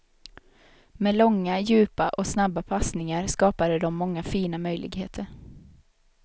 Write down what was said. Med långa, djupa och snabba passningar skapade de många fina möjligheter.